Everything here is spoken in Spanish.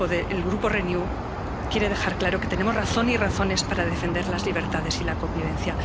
El Grupo Renew quiere dejar claro que tenemos razón y razones para defender las libertades y la convivencia.